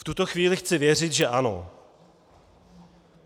V tuto chvíli chci věřit že ano.